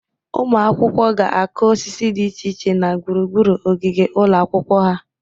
Ụmụ akwụkwọ ga-akụ osisi dị iche iche na gburugburu ogige ụlọ akwụkwọ ha.